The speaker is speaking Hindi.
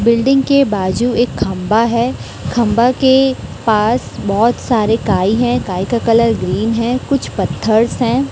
बिल्डिंग के बाजू एक खंभा है। खंभा के पास बहोत सारे काई है। काई का कलर ग्रीन है। कुछ पथर्स हैं।